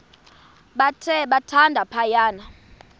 bathe thande phaya